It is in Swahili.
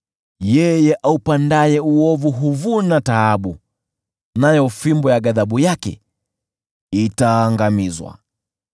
Yeye aupandaye uovu huvuna taabu, nayo fimbo ya ghadhabu yake itaangamizwa.